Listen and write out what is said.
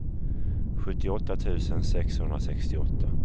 sjuttioåtta tusen sexhundrasextioåtta